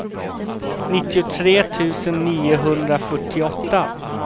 nittiotre tusen niohundrafyrtioåtta